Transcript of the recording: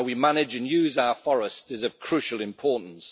So how we manage and use our forests is of crucial importance.